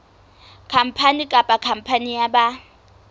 khampani kapa khampani ya ba